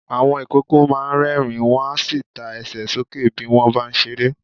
Àwọn ìkókó máa ń rẹ́ẹ̀rín, wọn a sì ta Ẹsẹ̀ sókè bí wọ́n bá ń ṣeré.